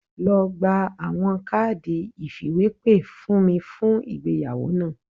Lọ gba awọn kaadi ifiwepe fun mi fun igbeyawo naa